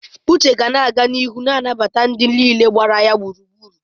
Uche ga na-aga n'ihu na-anabata ndị niile gbara ya gburugburu.